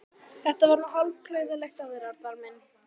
Þetta var nú hálf klaufalegt af þér, Arnar minn!